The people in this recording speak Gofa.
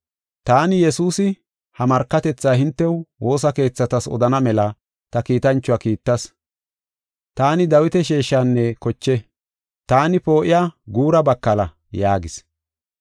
“Taani, Yesuusi, ha markatethaa hintew, woosa keethatas odana mela ta kiitanchuwa kiittas. Taani Dawita sheeshinne koche. Taani poo7iya guura bakala” yaagis.